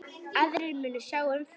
Aðrir munu sjá um það.